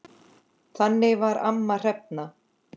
Þannig var amma Hrefna.